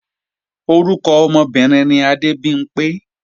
Orúkọ ọmọbìnrin ni Adébimpé